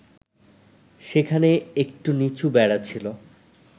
সেখানে একটু নিচু বেড়া ছিল